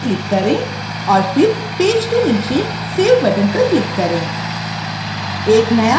close पर click करें और फिर पेज के नीचे save बटन पर क्लिक करें